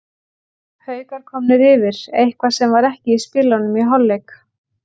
Haukar komnir yfir, eitthvað sem var ekki í spilunum í hálfleik.